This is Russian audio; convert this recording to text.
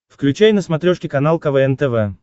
включай на смотрешке канал квн тв